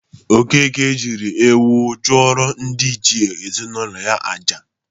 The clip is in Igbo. Okeke jịrị ewu chụrụ ndị iche ezinaụlọ ya aja.